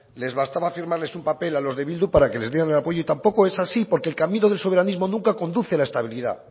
les bastaba firmales un papel a los de bildu para que les dieran el apoyo y tampoco esa es así porque el camino del soberanismo nunca conduce a la estabilidad